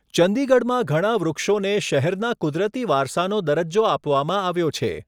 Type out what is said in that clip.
ચંદીગઢમાં ઘણા વૃક્ષોને શહેરના કુદરતી વારસાનો દરજ્જો આપવામાં આવ્યો છે.